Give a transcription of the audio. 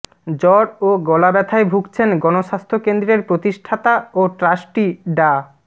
জ্বর ও গলাব্যথায় ভুগছেন গণস্বাস্থ্য কেন্দ্রের প্রতিষ্ঠাতা ও ট্রাস্টি ডা